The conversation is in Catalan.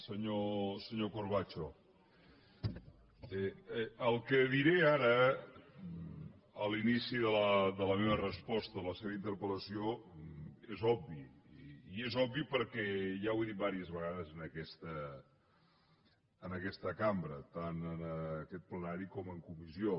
senyor corbacho el que diré ara a l’inici de la meva resposta a la seva interpel·lació és obvi i és obvi perquè ja ho he dit diverses vegades en aquesta cambra tant en aquest plenari com en comissió